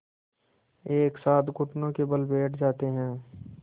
एक साथ घुटनों के बल बैठ जाते हैं